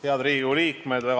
Head Riigikogu liikmed!